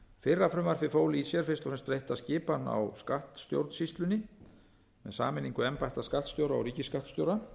fyrra frumvarpið fól í sér fyrst og fremst breytta skipan á skattstjórnsýslunni með sameiningu embætta skattstjóra og ríkisskattstjóra